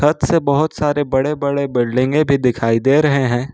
छत से बहोत सारे बड़े बड़े बिल्डिंगें भी दिखाई दे रहे हैं।